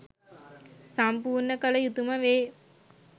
සම්පූර්ණ කළ යුතුම වේ.